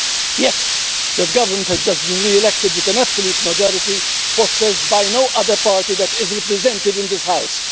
Yet that Government has just been re-elected with an absolute majority, possessed by no other party that is represented in this House.